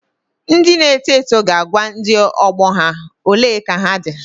Ndị na-eto eto ga-agwa ndị ọgbọ ha " ole ka ha dị.